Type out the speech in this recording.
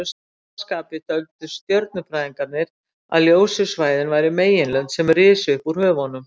Að sama skapi töldu stjörnufræðingarnir að ljósu svæðin væru meginlönd sem risu upp úr höfunum.